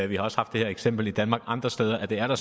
vi har også haft det her eksempel i danmark andre steder og det er der